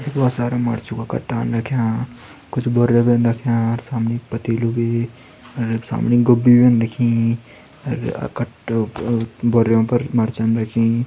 भोत सारा मरचु का कट्टन रख्यां कुछ भी रख्यां अर सामणी पतेलु भी सामनी गोब्बीन भीं रखीं अर कट्टों बोरियों पर मर्चन रखीं।